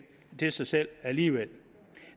til sig selv alligevel